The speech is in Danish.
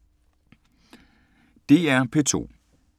DR P2